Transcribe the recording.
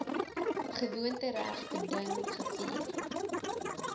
gewoontereg beding gevier